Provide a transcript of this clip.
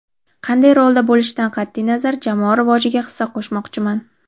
Qanday rolda bo‘lishidan qat’iy nazar jamoa rivojiga hissa qo‘shmoqchiman.